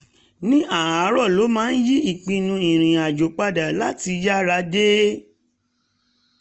ní um àárọ̀ ló máa ń yí ìpinnu irinàjò padà láti yára dé